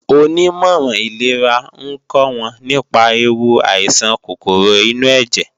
Onímọ̀ràn ìlera ń kọ́ wọn nípa ewu àìsàn kòkòrò inú ẹ̀jẹ̀